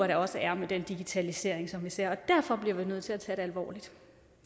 der også er med den digitalisering som vi ser og derfor bliver vi nødt til at tage det alvorligt